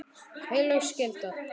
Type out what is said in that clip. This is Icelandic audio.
Heilög skylda.